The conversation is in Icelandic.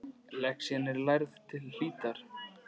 Lexían er lærð til hlítar.